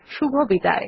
শুভবিদায়